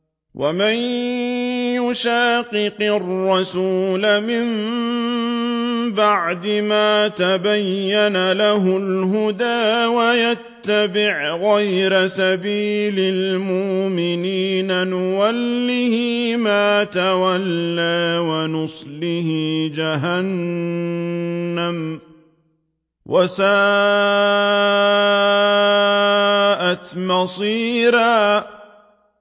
وَمَن يُشَاقِقِ الرَّسُولَ مِن بَعْدِ مَا تَبَيَّنَ لَهُ الْهُدَىٰ وَيَتَّبِعْ غَيْرَ سَبِيلِ الْمُؤْمِنِينَ نُوَلِّهِ مَا تَوَلَّىٰ وَنُصْلِهِ جَهَنَّمَ ۖ وَسَاءَتْ مَصِيرًا